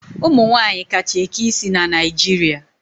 Ụmụ nwaanyị kacha eke isi na Naijiria.